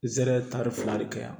N zɛrɛ tari fila de kɛ yan